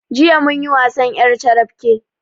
Jiya munyi wasan ƴar carabke